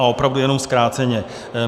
A opravdu jenom zkráceně.